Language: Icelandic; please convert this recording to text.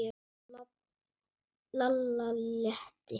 Lalla létti.